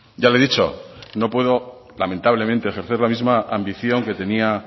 ya le he dicho no puedo lamentablemente ejercer la misma ambición que tenía